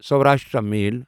Saurashtra میل